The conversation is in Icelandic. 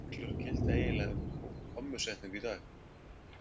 Hvaða reglur gilda eiginlega um kommusetningu í dag?